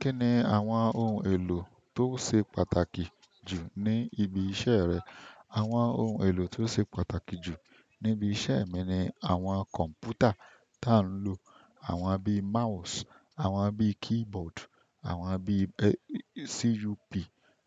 Kí ni àwọn ohun èlò tó ṣe pàtàkì jù ní ibi iṣẹ́ rẹ? Àwọn ohun èlò tó ṣe pàtàkì jù níbi iṣẹ́ mi ni àwọn kọ̀m̀pútà ta ń lò, àwọn bíi mouse, àwọn bíi keyboard, àwọn bíi CUP,